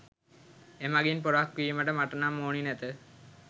එමගින් පොරක් වීමට මට නම් ඕනි නැත